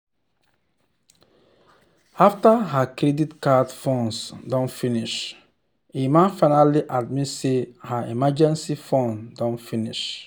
after her credit card funds don finish emma finally admit say her emergency fund don finish.